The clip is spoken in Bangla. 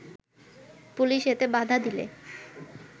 পুলিশ এতে বাধা দিলে